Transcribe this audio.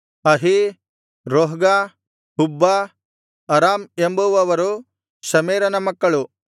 ಅಹೀ ರೋಹ್ಗ ಹುಬ್ಬ ಅರಾಮ್ ಎಂಬುವವರು ಶಮೆರನ ಮಕ್ಕಳು